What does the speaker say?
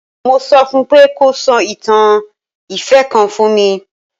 Mo sọ fún un pé kó sọ ìtàn ìfẹ́ kan fún mi.